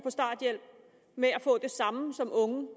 starthjælp med at få det samme som unge